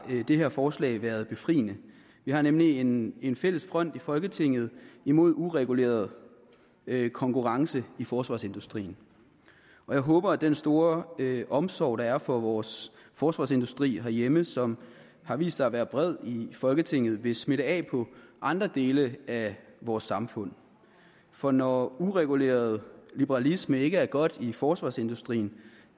har det her forslag være befriende vi har nemlig en en fælles front i folketinget mod ureguleret konkurrence i forsvarsindustrien jeg håber at den store omsorg der er for vores forsvarsindustri herhjemme som har vist sig at være bred i folketinget vil smitte af på andre dele af vores samfund for når ureguleret liberalisme ikke er godt i forsvarsindustrien